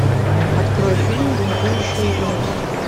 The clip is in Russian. открой фильм бунтующая юность